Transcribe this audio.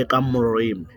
eka murimi.